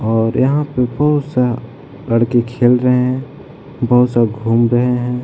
और यहाँ पे बहुत सा लड़के खेल रहे हैं बहुत सा घूम रहे हैं।